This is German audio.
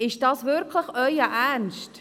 Ist das wirklich Ihr Ernst?